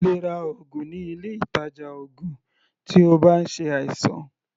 O lè ra oògùn ní ilé ìtàjà oògùn tí o bá ń ṣe àìsàn.